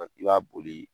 I b'a boli